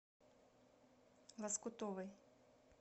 лоскутовой